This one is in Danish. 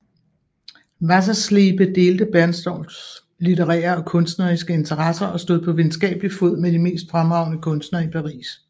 Wasserschlebe delte Bernstorffs litterære og kunstneriske interesser og stod på venskabelig fod med de mest fremragende kunstnere i Paris